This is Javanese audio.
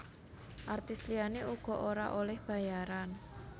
Artis liyané uga ora olih bayaran